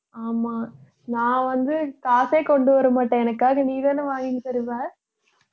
ஆமா நான் வந்து காசே கொண்டு வர மாட்டேன் எனக்காக நீதானே வாங்கிதருவ